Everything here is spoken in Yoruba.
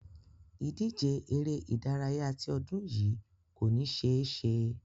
Ìdíje eré-ìdárayá ti ọdún yìí kò ní ṣe é ṣẹ.